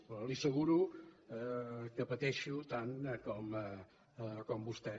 però li asseguro que pateixo tant com vostè